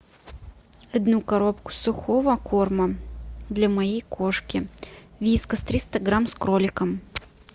одну коробку сухого корма для моей кошки вискас триста грамм с кроликом